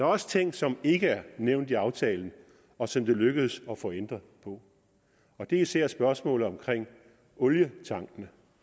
også ting som ikke er nævnt i aftalen og som det lykkedes at få ændret på og det er især spørgsmålet om olietankene